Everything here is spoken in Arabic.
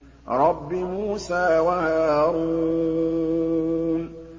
رَبِّ مُوسَىٰ وَهَارُونَ